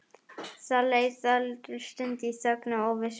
Það leið dálítil stund í þögn og óvissu.